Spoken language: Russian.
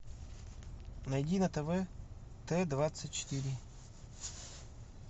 найди на тв т двадцать четыре